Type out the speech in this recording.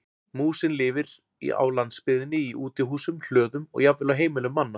Músin lifir á landsbyggðinni í útihúsum, hlöðum og jafnvel á heimilum manna.